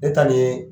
Ne ta nin ye